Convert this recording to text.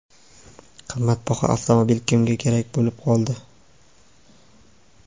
Qimmatbaho avtomobil kimga kerak bo‘lib qoldi?.